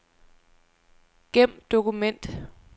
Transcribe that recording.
Gem dokument.